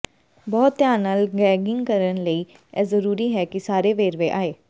ਬਹੁਤ ਧਿਆਨ ਨਾਲ ਗੈਗਿੰਗ ਕਰਨ ਲਈ ਇਹ ਜ਼ਰੂਰੀ ਹੈ ਕਿ ਸਾਰੇ ਵੇਰਵੇ ਆਏ